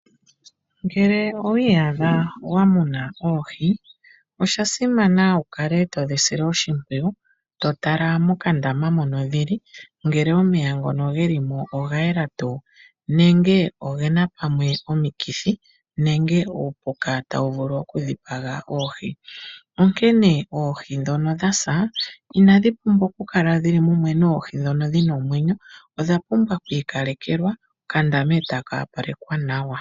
Ngele owiyadha wamuna oohii oshasimana wukale todhisile oshipwiyu totala mokandama moka dhili ngele omeya ngono ngelimo ogayela tu nenge ongena pamwe omikithi nenge upuka tawuvulu okudhipanga oohii, onkene oohii dhono dhasa inadhi pumbwa okukala dhili mumwe noohii dhono dhina omwenyo odha pumbwa okwi kalekelwa okandama otaka opalekwa nawa.